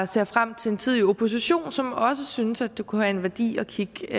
ser frem til en tid i opposition som også synes det kunne have en værdi at kigge